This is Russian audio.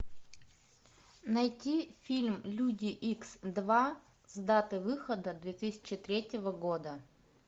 найти фильм люди икс два с датой выхода две тысячи третьего года